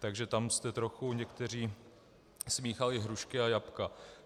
Takže tam jste trochu někteří smíchali hrušky a jablka.